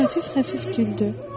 O xəfif-xəfif güldü.